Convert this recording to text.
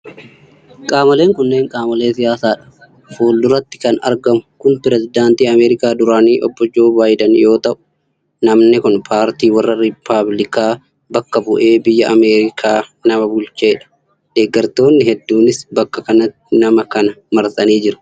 Qaamoleen kunneen qaamolee siyaasaa dha. Fuulduratti kan argamu kun pireezidantii Ameerikaa duraanii Obbo Joo Baayiadan yoo ta'u, namni kun paartii warra Rippaabilikaa bakka bu'ee biyya Ameerikaa nama bulchee dha. Deeggartoonni hedduunis bakka kantti nama kana marsanii jiru.